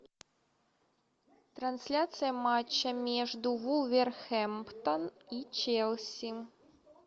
трансляция матча между вулверхэмптон и челси